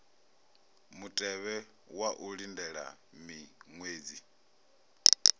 mutevhe wa u lindela miṅwedzi